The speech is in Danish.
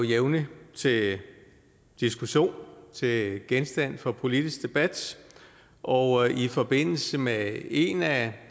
jævnligt til diskussion til genstand for politisk debat og i forbindelse med en af